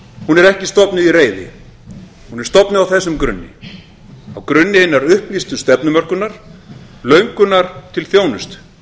er ekki stofnuð í reiði hún er stofnuð á þessum grunni á grunni hinnar upplýstu stefnumörkunar löngunar til þjónustu